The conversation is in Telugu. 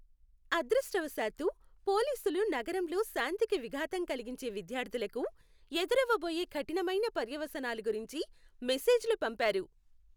అదృష్టవశాత్తూ, పోలీసులు నగరంలో శాంతికి విఘాతం కలిగించే విద్యార్థులకు, ఎదురవబోయే కఠినమైన పర్యవసానాల గురించి మెసేజ్లు పంపారు.